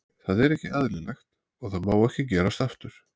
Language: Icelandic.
Það er ekki eðlilegt og það má ekki gerast aftur.